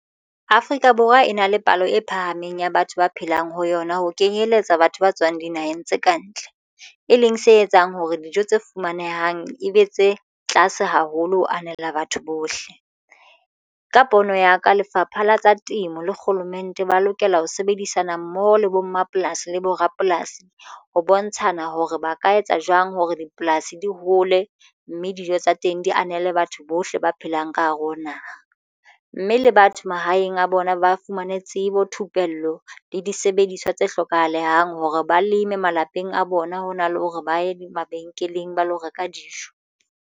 Afrika Borwa e na le palo e phahameng ya batho ba phelang ho yona ho kenyeletsa batho ba tswang dinaheng tse kantle e leng se etsang hore dijo tse fumanehang ebe tse tlase haholo. Ho anela batho bohle ka pono ya ka Lefapha la tsa Temo le Kgolomente ba lokela ho sebedisana mmoho le bo mmapolasi le bo rapolasi ho bontshana hore ba ka etsa jwang hore dipolasi di hole mme dijo tsa teng di anele batho bo bohle ba phelang ka hare ho naha, mme le batho mahaeng a bona ba fumane tsebo, thupello le disebediswa tse hlokahalang hore ba leme malapeng a bona hona le hore ba ye mabenkeleng ba lo reka dijo.